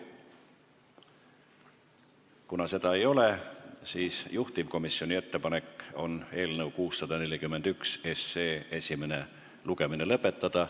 Kuna seda ei ole, siis juhtivkomisjoni ettepanek on eelnõu 641 esimene lugemine lõpetada.